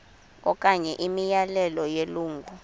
okanye imiyalelo yelungu